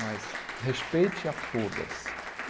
Mas respeite a todas.